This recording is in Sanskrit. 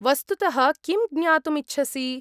वस्तुतः किं ज्ञातुम् इच्छसि?